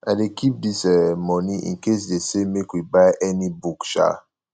i dey keep dis um moni incase dey say make we buy any book um